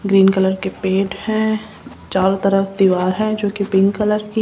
green colour के paint हैं चारों तरफ दीवार है जो कि पिंक कलर की--